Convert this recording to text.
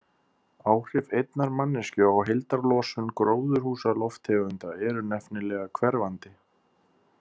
Áhrif einnar manneskju á heildarlosun gróðurhúsalofttegunda eru nefnilega hverfandi.